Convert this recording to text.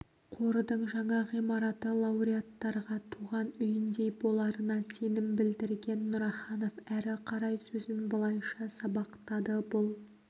қордың жаңа ғимараты лауреаттарға туған үйіндей боларына сенім білдірген нұраханов әрі қарай сөзін былайша сабақтады бұл